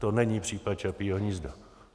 To není případ Čapího hnízda.